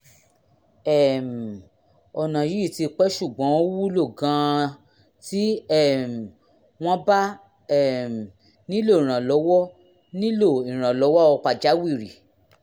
um ọ̀nà yìí ti pẹ́ ṣùgbọ́n ó wúlò gan-an tí um wọ́n bá um nílò ìrànlọ́wọ́ nílò ìrànlọ́wọ́ pàjáwìrì